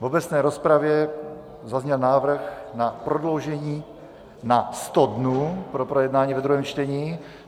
V obecné rozpravě zazněl návrh na prodloužení na 100 dnů pro projednání ve druhém čtení.